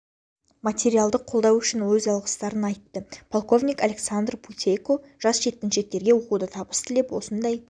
материалдық қолдау үшін өз алғыстарын айтты полковник александр путейко жас жеткіншектерге оқуда табыс тілеп осындай